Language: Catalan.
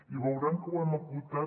i veuran que ho hem acotat